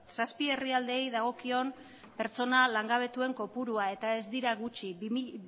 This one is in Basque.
zazpi herrialdeei dagozkion pertsona langabetuen kopurua eta ez dira gutxi